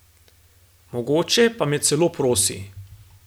Mogoče pa me celo prosi.